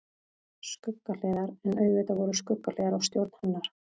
Skuggahliðar En auðvitað voru skuggahliðar á stjórn hennar.